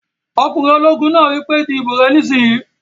Ọkùnrin ológun náà wí pé "di ìbò rẹ nísìínyi!"